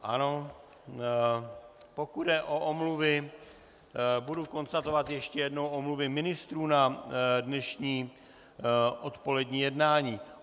Ano, pokud jde o omluvy, budu konstatovat ještě jednou omluvy ministrů na dnešní odpolední jednání.